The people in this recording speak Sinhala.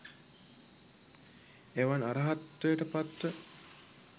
එවන් අර්හත්වයට පත්ව